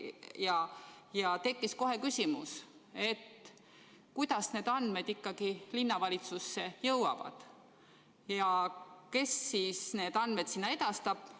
Ja tekkis kohe küsimus, kuidas need andmed ikkagi linnavalitsusse jõuavad, kes siis need sinna edastab.